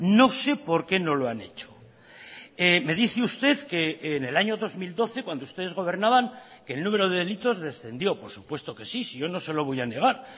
no sé por qué no lo han hecho me dice usted que en el año dos mil doce cuando ustedes gobernaban que el número de delitos descendió por supuesto que sí si yo no se lo voy a negar